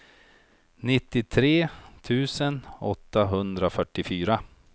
nittiotre tusen åttahundrafyrtiofyra